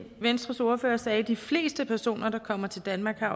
venstres ordfører sagde at de fleste personer der kommer til danmark